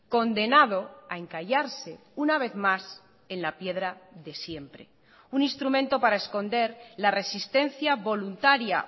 condenado a encallarse una vez más en la piedra de siempre un instrumento para esconder la resistencia voluntaria